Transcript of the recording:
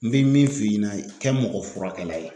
N bɛ min f'i ɲɛna kɛ mɔgɔfurakɛla ye